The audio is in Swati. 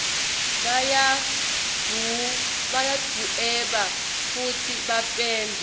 bayadvueba fusi bapende